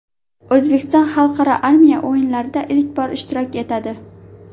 O‘zbekiston Xalqaro armiya o‘yinlarida ilk bor ishtirok etadi.